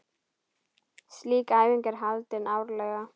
Slík æfing er haldin árlega.